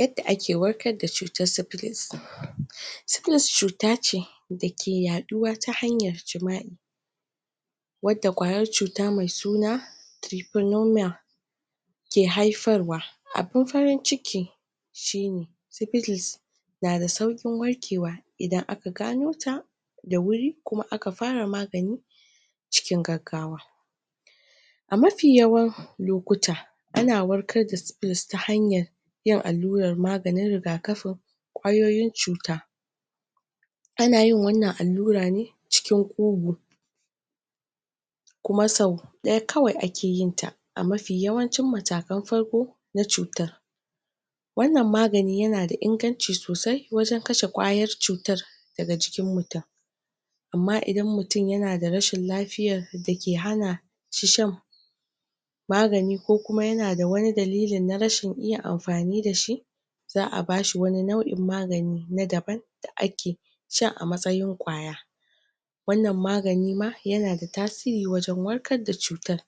Yadda ake warkar da cutar siphilis. Siphillis cuta ce dake yaduwa ta hanyar wadda kwayar cuta me suna ke haifarwa abun farin ciki shi ne syphilis na da saukin warkewa idan aka gano ta da wuri kuma aka fara magani cikin gaggawa. A mafi yawan lokuta ana warkar da syphillis ta hanyan yin allurar maganin rigakafi kwayoyin cuta ana yin wannan allura ne cikin kuma sau daya kawai ake yin ta a mafi yawancin mutakan farko, na cutar Wannan magani yana da inganci sosai wajen kashe kwayar cutar daga jikin mutum amma idan mutum yana da rashin lafiyar da ke hana magani ko kuma yana da wane dalilin na rashin iya amfani da shi za a bashi wani nau'in magani na daban da ake shan a matsayin kwaya. wannan magani ma yana da tasiri wajen warkar da cutar